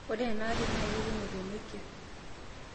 ore enaarri naa kekumok te nokia